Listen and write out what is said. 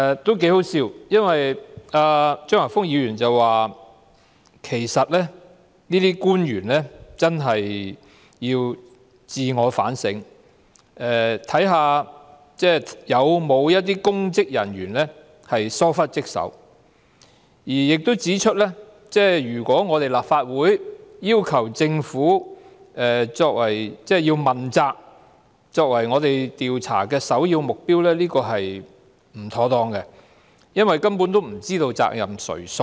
這是挺可笑的，因為張華峰議員說其實這些官員真的要自我反省，看看有否一些公職人員疏忽職守，亦指出如果立法會要求把政府作為問責和調查的首要目標是不妥當的，因為根本不知責任誰屬。